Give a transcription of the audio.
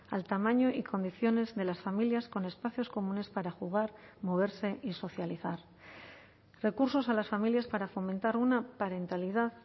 al tamaño y condiciones de las familias con espacios comunes para jugar moverse y socializar recursos a las familias para fomentar una parentalidad